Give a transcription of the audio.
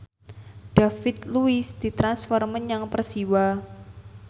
David Luiz ditransfer menyang Persiwa